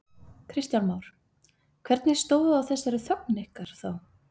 Kristján Már: Hvernig stóð á þessari þögn ykkar þá?